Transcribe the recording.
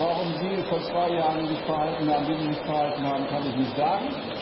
Warum Sie sich vor zwei Jahren so verhalten haben, wie Sie sich verhalten haben, kann ich nicht sagen.